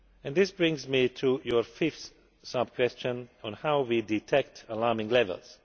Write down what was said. This brings me to your fifth sub question, on how we detect alarming levels.